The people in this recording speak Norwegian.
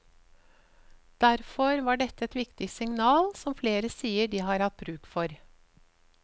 Derfor var dette et viktig signal som flere sier de har hatt bruk for.